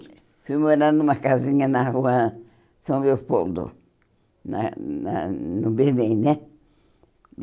Aí eu fui morar numa casinha na rua São Leopoldo, na na no Berlim, né?